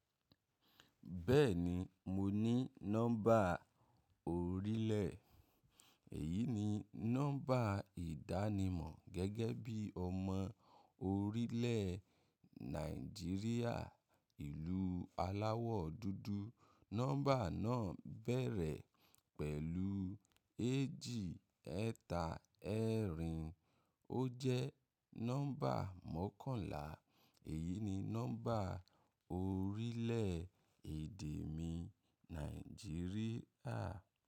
Bẹ́ẹ̀ni, mo ní nọ́mbà orílẹ̀. Èyí ni nọ́mbà ìdánimọ̀ gẹ́gẹ́ bí ọmọ orílẹ̀ Nàìjíríà ìlú aláwọ̀ dúdú. Nọ́mbà náà bẹ̀rẹ̀ pẹ̀lú éjì, ẹ̀ta, ẹ́rìn. Ó jẹ́ nọ́mbà mọ́kànlá. Èyí ni nọ́mbà orílẹ̀ èdè mi Nàìjíríà.